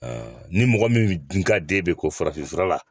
ni mɔgɔ min dun ka d'e bɛ ko farafin fura la